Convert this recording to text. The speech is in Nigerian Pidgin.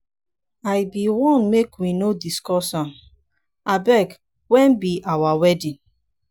i bin wan make we no discuss am. abeg wen be our wedding?